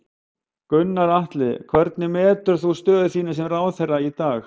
Gunnar Atli: Hvernig metur þú stöðu þína sem ráðherra í dag?